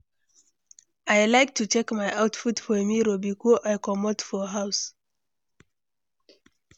I like to check my outfit for mirror before I comot for house.